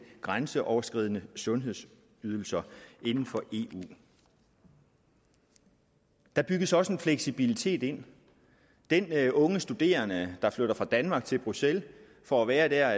grænseoverskridende sundhedsydelser inden for eu der bygges også en fleksibilitet ind den unge studerende der flytter fra danmark til bruxelles for at være der